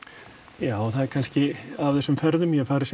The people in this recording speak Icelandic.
já það er kannski af þessum ferðum ég hef farið sem